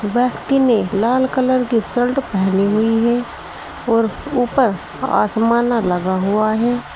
व्यक्ति ने एक लाल कलर की शर्ट पहनी हुई है और उपर आसमानर लगा हुआ है।